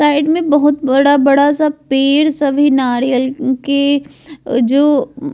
साइड में बहुत बड़ा-बड़ा सब पेड़ सब है नारियल के जो --